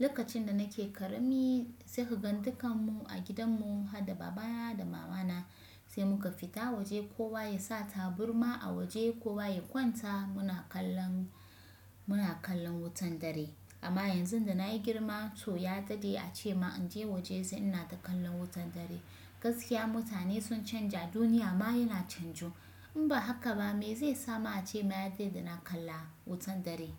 Lokacin da nake ƙarami sai kaga dukan mu a gidan mu, ha da baba na da mama na sai muka fita waje, kowa ya sa taburma a waje, kowa ya kwanta muna kallon, muna kallon wutan dare. Amma yanzu da na yi girma to ya daɗe a ce ma in je waje sai ina ta kallon wutan dare. Gaskiya mutane sun canja, duniya ma yana canju. In ba haka ba me zai sa ma a ce ma yade ina kalla wutan dare?